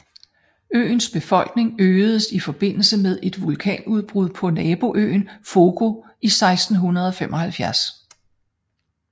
Øens befolkning øgedes i forbindelse med et vulkanudbrud på naboøen Fogo i 1675